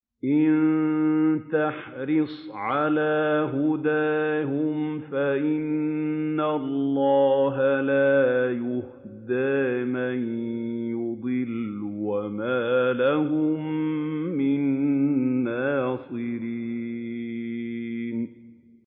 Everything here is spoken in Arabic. إِن تَحْرِصْ عَلَىٰ هُدَاهُمْ فَإِنَّ اللَّهَ لَا يَهْدِي مَن يُضِلُّ ۖ وَمَا لَهُم مِّن نَّاصِرِينَ